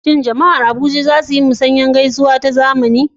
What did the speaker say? Shin Jama'ar Abuja za su yi musanyar gaisuwa ta zamani da safe?